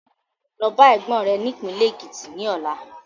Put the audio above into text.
Lọ bá Ẹ̀gbọ́n rẹ ni ìpínlẹ́ Ekiti ni ọ̀la.